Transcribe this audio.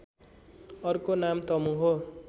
अर्को नाम तमु हो